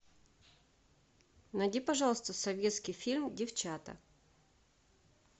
найди пожалуйста советский фильм девчата